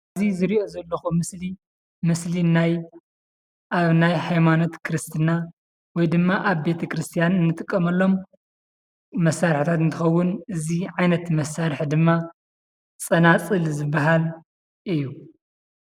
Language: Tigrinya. እዚ ዝርኦ ዘሎኩ ምስሊ ምስሊ ናይ ኣብ ናይ ሃይማኖት ክርስትና ወይ ድማ ኣብ ቤት ክርሰተያን እንጥቀመሎሞ መሳርሕታት እንትከዉን እዚ ዓይነት መሳርሕ ድማ ፀናፅል ዝባሃል እዩ፡፡